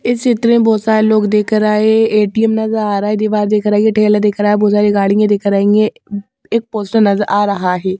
इस चित्र मे बहोत सारे लोग दिख रहे है ए_टी_एम नज़र आ रहा है दीवार दिख रही है ठेले दिख रहा है बहोत सारी गाड़ियां दिख रही है एक पोस्टर नज़र आ रहा है।